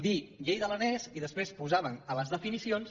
dir llei de l’aranès i després posàvem a les definicions